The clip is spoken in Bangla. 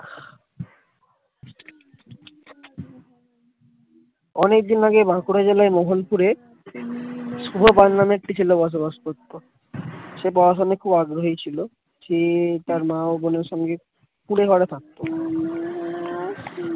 অনেকদিন আগে বাঁকুড়া জেলার মোহন পুরে শুভ একটি ছেলে বসবাস করতো সে পড়াশোনায় খুব আগ্রহী ছিল সে তার মা ও বোনের সঙ্গে কুড়েঘরে থাকতো